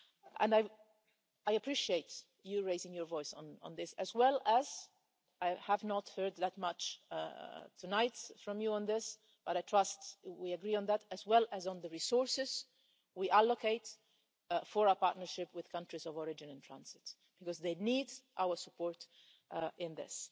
And I appreciate you raising your voice on this as well as I have heard that much tonight from you on this, but I trust we agree on that on the resources we allocate for our partnership with countries of origin and transit, because they need our support in this.